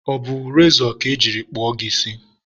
ọ bụ rezọ ka e jiri kpụọ gị isi?